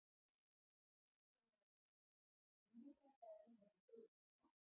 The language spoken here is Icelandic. Kristján Már Unnarsson: Þýðir þetta að hún verði dregin til baka?